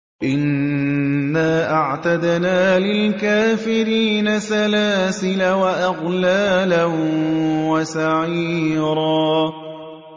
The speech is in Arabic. إِنَّا أَعْتَدْنَا لِلْكَافِرِينَ سَلَاسِلَ وَأَغْلَالًا وَسَعِيرًا